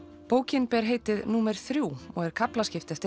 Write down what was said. bókin ber heitið númer þriðja og er kaflaskipt eftir